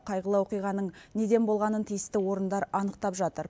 қайғылы оқиғаның неден болғанын тиісті орындар анықтап жатыр